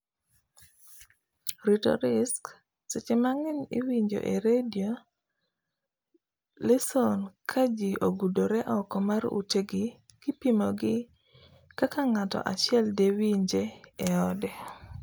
rito risks, seche mangeny iwinjo e radio lesson ka ji ogudore oko mar ute gi kipimo gi kak ngao achiel de winje e ode